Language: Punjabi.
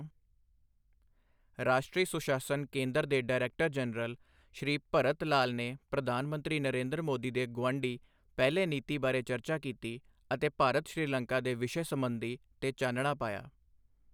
ਰਾਸ਼ਟਰੀ ਸੁਸ਼ਾਸਨ ਕੇਂਦਰ ਦੇ ਡਾਇਰੈਕਟਰ ਜਨਰਲ ਸ਼੍ਰੀ ਭਰਤ ਲਾਲ ਨੇ ਪ੍ਰਧਾਨ ਮੰਤਰੀ ਨਰੇਂਦਰ ਮੋਦੀ ਦੇ ਗੁਆਢੀ ਪਹਿਲੇ ਨੀਤੀ ਬਾਰੇ ਚਰਚਾ ਕੀਤੀ ਅਤੇ ਭਾਰਤ ਸ੍ਰੀਲੰਕਾ ਦੇ ਵਿਸ਼ੇ ਸਬੰਧੀ ਤੇ ਚਾਨਣਾ ਪਾਇਆ।